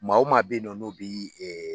Maa o maa bɛ ye nɔ n'o bi